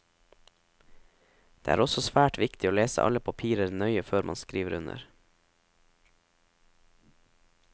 Det er også svært viktig å lese alle papirer nøye før man skriver under.